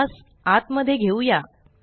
यास आत मध्ये घेऊया